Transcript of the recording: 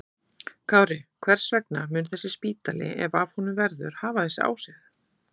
Kári, hvers vegna mun þessi spítali, ef af honum verður, hafa þessi áhrif?